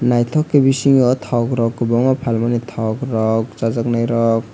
nythok ke bisingo thog ro kbangma falmani thog rok chajaknai rok.